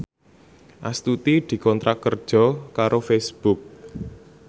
Astuti dikontrak kerja karo Facebook